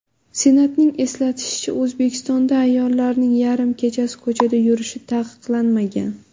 Senatning eslatishicha, O‘zbekistonda ayollarning yarim kechasi ko‘chada yurishi taqiqlanmagan.